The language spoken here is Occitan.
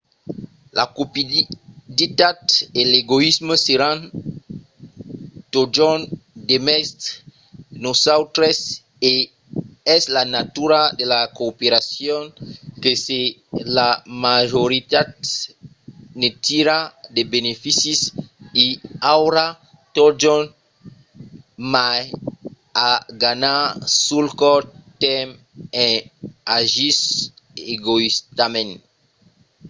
la cupiditat e l’egoïsme seràn totjorn demest nosautres e es la natura de la cooperacion que se la majoritat ne tira de beneficis i aurà totjorn mai a ganhar sul cort tèrme en agissent egoïstament